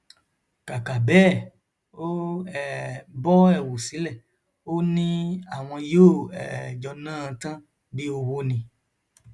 kàkà bẹẹ ó um bọ ẹwù sílẹ ó ní àwọn yóò um jọ ná an tán bíi ọwọ ni